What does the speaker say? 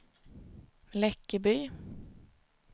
Läckeby